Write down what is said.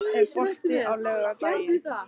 Annar, er bolti á laugardaginn?